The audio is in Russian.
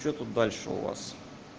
что тут дальше у вас